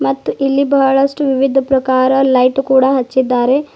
ಮತ್ತು ಇಲ್ಲಿ ಬಹಳಷ್ಟು ವಿವಿಧ ಪ್ರಕಾರ ಲೈಟ್ ಕೂಡ ಹಚ್ಚಿದ್ದಾರೆ.